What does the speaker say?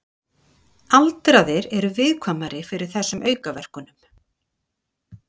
Aldraðir eru viðkvæmari fyrir þessum aukaverkunum.